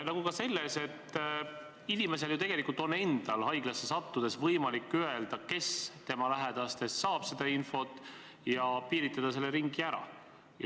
Inimesel endal on ju tegelikult haiglasse sattudes võimalik öelda, kes tema lähedastest seda infot saab, ja see ring piiritleda.